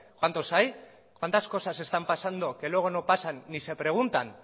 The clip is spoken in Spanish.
cuántos hay cuántas cosas están pasando que luego no pasan ni se preguntan